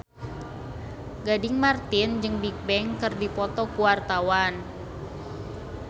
Gading Marten jeung Bigbang keur dipoto ku wartawan